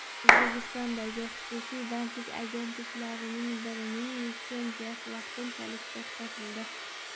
O‘zbekistondagi xususiy bandlik agentliklaridan birining litsenziyasi vaqtinchalik to‘xtatildi.